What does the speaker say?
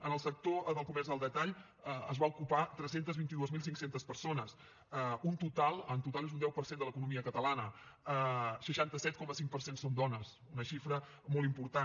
en el sector del comerç al detall es van ocupar tres cents i vint dos mil cinc cents persones en total és un deu per cent de l’economia catalana seixanta set coma cinc per cent són dones una xifra molt important